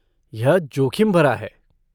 यह जोखिम भरा है।